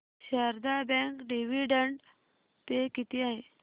Sharda bank dividend pay किती आहे